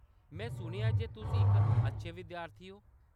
में सुनेआ ऐ जे तुस इक अच्छे विद्यार्थी ओ।